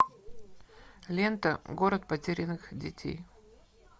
лента город потерянных детей